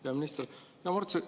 Hea minister!